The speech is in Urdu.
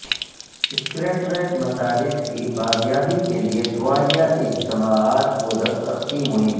سکریٹریٹ مساجد کی بازیابی کیلئے دعائیہ اجتماعات و دستخطی مہم